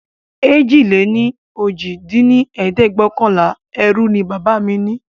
èjì-lé-ní-ojì dín ní ẹ̀ẹ́dẹ́gbẹ́ọ̀kànlá ẹrú ní bàbá mí ní